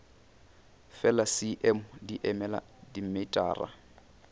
fela cm di emela dimetara